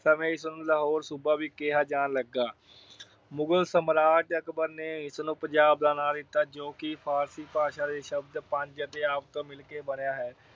ਸਮੇਂ ਇਸ ਨੂੰ ਲਾਹੌਰ ਸੂਬਾ ਵੀ ਕਿਹਾ ਜਾਣ ਲੱਗਾ। ਮੁਗਲ ਸਾਮਰਾਜ ਅਕਬਰ ਨੇ ਇਸ ਨੂੰ ਪੰਜਾਬ ਦਾ ਨਾਮ ਦਿੱਤਾ ਜੋ ਕਿ ਫ਼ਾਰਸੀ ਭਾਸ਼ਾ ਦੇ ਸ਼ਬਦ ਪੰਜ ਅਤੇ ਆਬ ਤੋਂ ਮਿਲ ਕੇ ਬਣਿਆ ਹੈ।